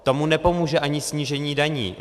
Tomu nepomůže ani snížení daní.